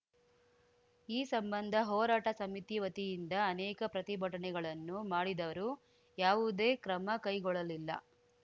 ಈ ಸಂಬಂಧ ಹೋರಾಟ ಸಮಿತಿ ವತಿಯಿಂದ ಅನೇಕ ಪ್ರತಿಭಟನೆಗಳನ್ನು ಮಾಡಿದರು ಯಾವುದೇ ಕ್ರಮ ಕೈಗೊಳ್ಳಲಿಲ್ಲ